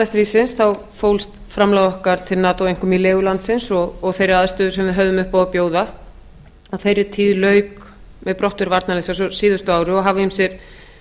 stríðsins fólst framlag okkar til nato einkum í legu landsins og þeirri aðstöðu sem við höfðum upp á að bjóða á þeirri tíð lauk brottför varnarliðsins á síðasta ári og hafa ýmsir